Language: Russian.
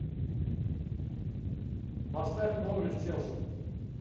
поставь норвич челси